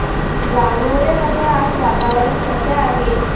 गणोरे मध्ये आज वातावरण कसे आहे